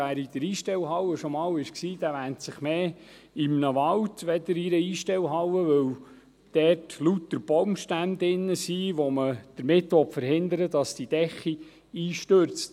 Wer schon einmal in der Einstellhalle war, wähnt sich eher in einem Wald als in einer Einstellhalle, weil sich dort drinnen lauter Baumstämme befinden, mit welchen man verhindern will, dass die Decke einstürzt.